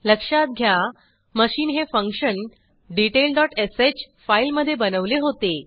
लक्षात घ्या मशीन हे फंक्शन डिटेल डॉट श फाईलमधे बनवले होते